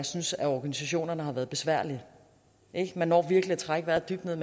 synes at organisationerne har været besværlige man når virkelig at trække vejret dybt jeg